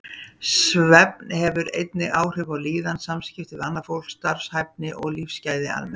Svefn hefur einnig áhrif á líðan, samskipti við annað fólk, starfshæfni og lífsgæði almennt.